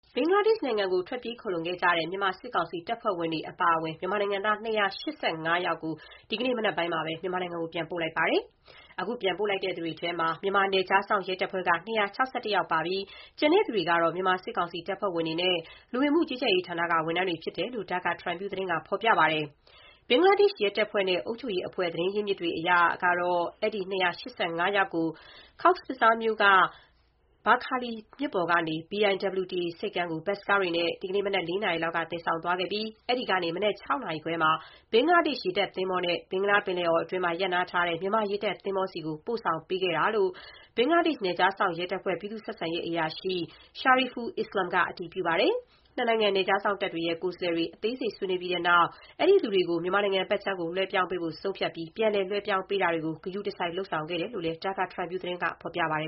ဘင်္ဂလားဒေ့ရှ်နိုင်ငံကို ထွက်ပြေးခိုလှုံခဲ့တဲ့ မြန်မာစစ်ကောင်စီတပ်ဖွဲ့ဝင်တွေ အပါအဝင် မြန်မာနိုင်ငံသား ၂၈၈ ယောက်ကို ဒီနေ့မနက်ပိုင်းမှာ မြန်မာနိုင်ငံကို ပြန်ပို့လိုက်ပါပြီ။ အခု ပြန်ပို့လိုက်သူတွေထဲမှာ မြန်မာနယ်ခြားစောင့် ရဲတပ်ဖွဲ့က ၂၆၁ ယောက်ပါဝင်ပြီး ကျန်တဲ့သူတွေကတော့ မြန်မာစစ်ကောင်စီတပ်ဖွဲ့ဝင်တွေ နဲ့ လူဝင်မှုကြီးကြပ်ရေးဌာနက ဝန်ထမ်းတွေ ဖြစ်တယ်လို့ Dhaka Tribune သတင်းက ဖော်ပြပါတယ်။ ဘင်္ဂလားဒေ့ရှ်ရဲတပ်ဖွဲ့ နဲ့ အုပ်ချုပ်ရေးအဖွဲ့ သတင်းအရင်းအမြစ်တွေရဲ့ အဆိုအရတော့ အဲဒီ ၂၈၅ ယောက်ကို Cox’s Bazar မြို့က ဘာခါလီ မြစ်ပေါ်က BIWTA ဆိပ်ကမ်းကို ဘတ်စ်ကားတွေနဲ့ ဒီနေ့မနက် ၄ နာရီလောက်က သယ်ဆောင်သွားခဲ့ပြီး၊ အဲဒီကနေ မနက် ၆ နာရီခွဲမှာ ဘင်္ဂလားဒေ့ရှ်ရေတပ်သင်္ဘောနဲ့ ဘင်္ဂလားပင်လယ်အော်အတွင်းမှာ ရပ်နားထားတဲ့ မြန်မာရေတပ်သင်္ဘောဆီကို ပို့ဆောင်ပေးခဲ့တယ်ဆိုတာကို ဘင်္ဂလားဒေ့ရှ် နယ်ခြားစောင့်ရဲတပ်ဖွဲ ပြည်သူ့ဆက်ဆံရေးအရာရှိ Shariful Islam က အတည်ပြုပါတယ်။ နှစ်နိုင်ငံ နယ်ခြားစောင့်တပ်တွေရဲ့ ကိုယ်စားလှယ်တွေ အသေးစိတ်ဆွေးနွေးပြီးတဲ့နောက် အဲဒီလူတွေကို မြန်မာနိုင်ငံဘက်ခြမ်းကို လွှဲပြောင်းပေးဖို့ ဆုံးဖြတ်ပြီး ပြန်လည်လွဲပြောင်းပေးတာတွေကို သေချာဂရုစိုက်လုပ်ဆောင်ခဲ့တယ်လို့ Dhaka Tribune က ဖော်ပြာပါတယ